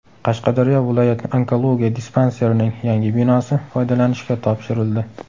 Qashqadaryo viloyat onkologiya dispanserining yangi binosi foydalanishga topshirildi.